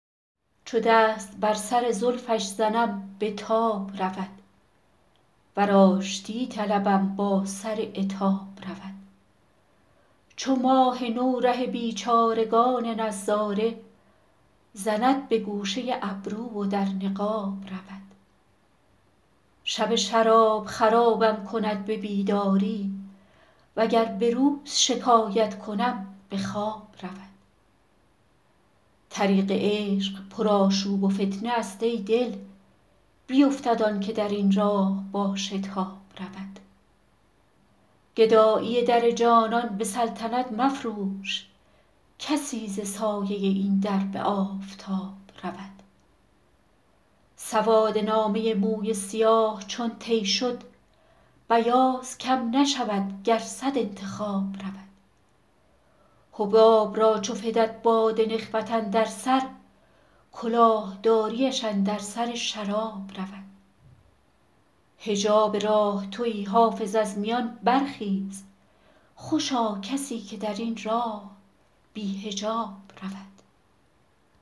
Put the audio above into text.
چو دست بر سر زلفش زنم به تاب رود ور آشتی طلبم با سر عتاب رود چو ماه نو ره بیچارگان نظاره زند به گوشه ابرو و در نقاب رود شب شراب خرابم کند به بیداری وگر به روز شکایت کنم به خواب رود طریق عشق پرآشوب و فتنه است ای دل بیفتد آن که در این راه با شتاب رود گدایی در جانان به سلطنت مفروش کسی ز سایه این در به آفتاب رود سواد نامه موی سیاه چون طی شد بیاض کم نشود گر صد انتخاب رود حباب را چو فتد باد نخوت اندر سر کلاه داریش اندر سر شراب رود حجاب راه تویی حافظ از میان برخیز خوشا کسی که در این راه بی حجاب رود